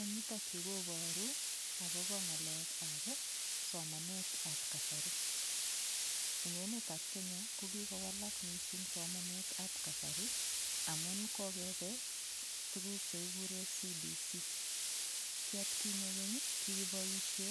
Eng' yutokyu koboru akobo ng'alekab somanetab kasari eng' emetab Kenya kokikowalak mising' somanetab kasari amun kokebe tukuk chekikure CBC ki atkinye keny kikiboishe